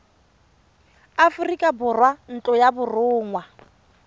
aforika borwa ntlo ya borongwa